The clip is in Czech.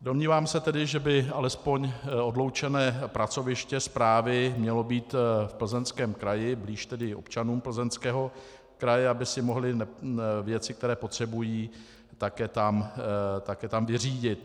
Domnívám se tedy, že by alespoň odloučené pracoviště správy mělo být v Plzeňském kraji, blíž tedy občanům Plzeňského kraje, aby si mohli věci, které potřebují, také tam vyřídit.